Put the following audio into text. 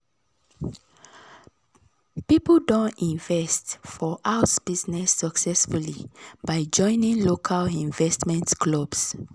people don invest for house business successfully by joining local investment clubs.